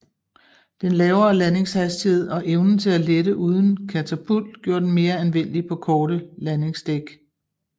Den lavere landingshastighed og evnen til at lette uden katapult gjorde den mere anvendelig på korte landingsdæk